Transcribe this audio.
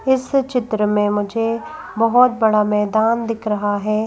इस चित्र में मुझे बहुत बड़ा मैदान दिख रहा है।